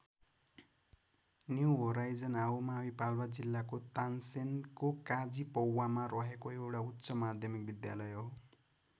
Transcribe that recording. New Horizon आउमावि पाल्पा जिल्लाको तानसेनको काजिपौवामा रहेको एउटा उच्च माध्यमिक विद्यालय हो।